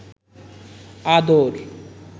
আদর